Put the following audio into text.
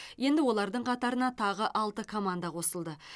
енді олардың қатарына тағы алты команда қосылды